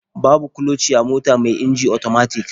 Babu kloci a mota mai inji otomatik.